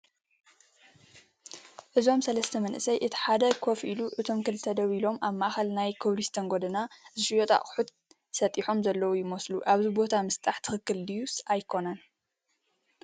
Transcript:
እዞም ሰለስተ መናእሰይ እቲ ሓደ ከፍ ኢሉ እቶም ክልተ ደው ኢሎም ኣብ ማእኸል ናይ ኮብልስቶን ጎደና ዝሽየጡ ኣቑሑት ሰጢሖም ዘለዉ ይመስሉ ፡ ኣብዚ ቦታ ምስጣሕ ትኽክል ድዩስ ኣይኮነን ?